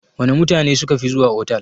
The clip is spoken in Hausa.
Wana mutane sukafi zuwa otal?